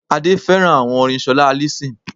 Adé féràn àwon orin solá allyson